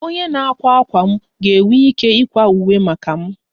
Onye na-akwa akwa m ga-enwe ike ịkwa akwa uwe maka m